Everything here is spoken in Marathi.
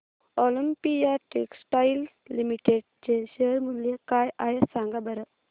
ऑलिम्पिया टेक्सटाइल्स लिमिटेड चे शेअर मूल्य काय आहे सांगा बरं